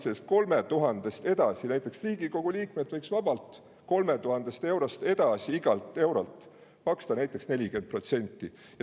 Aga Riigikogu liikmed võiksid vabalt 3000 eurost edasi igalt eurolt maksta näiteks 40%.